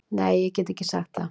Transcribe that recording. Nei, ég get ekki sagt það